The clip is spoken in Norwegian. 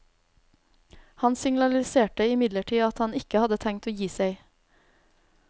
Han signaliserte imidlertid at han ikke hadde tenkt å gi seg.